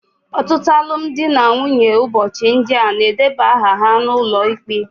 Ọtụtụ alụmdi na nwunye ụbọchị ndị a na-edeba aha ha n'ụlọ ikpe